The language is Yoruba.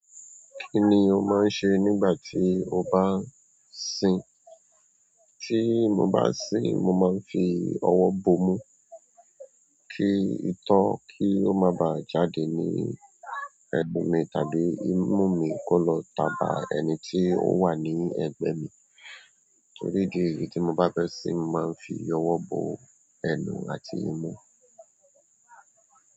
Kini o ma n se nígbà ti o ba n sin. Tí mo bá sin, mo máa ń fi ọwọ́ bo mú kí itọ́ kí ó má ba à jáde ní ẹ̀nu mí tàbí imú mi kó lọ tà bá ẹni tí ó wà ní ẹ̀gbẹ́ mi. Torí idi èyí tí mo bá fẹ́ sin, mo máa ń fi ọwọ́ bo ẹnu àti imú.